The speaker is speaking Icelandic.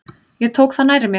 Ég tók það nærri mér.